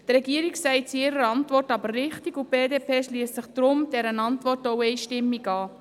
Die Regierung sagt es in ihrer Antwort aber richtig, und die BDP schliesst sich deshalb dieser Antwort auch einstimmig an: